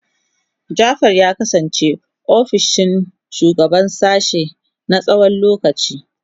Jafar ya kasance ofishin shugaban sashen na tsawon lokaci.